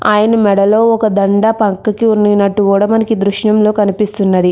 ఆయన మెడలో ఒక దండ పక్కకి వంగినట్టు కూడా మనకి దృశ్యం లో కనిపిస్తున్నది.